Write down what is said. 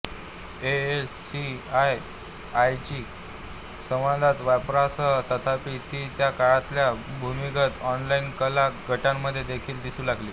एएससीआयआयच्या संवादाच्या वापरासह तथापि ती त्या काळातल्या भूमिगत ऑनलाइन कला गटांमध्ये देखील दिसू लागली